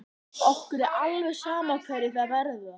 Okkur er alveg sama hverjir það verða.